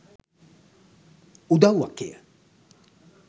උදව්වක් එය.